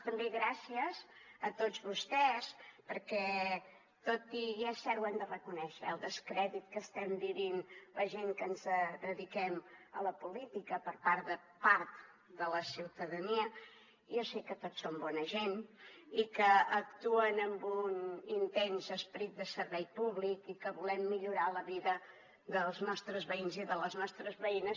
també gràcies a tots vostès perquè tot i i és cert ho hem de reconèixer el descrèdit que estem vivint la gent que ens dediquem a la política per part de part de la ciutadania jo sé que tots són bona gent i que actuen amb un intens esperit de servei públic i que volem millorar la vida dels nostres veïns i de les nostres veïnes